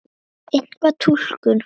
Einvíð túlkun